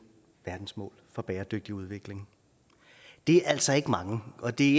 verdensmål for bæredygtig udvikling det er altså ikke mange og det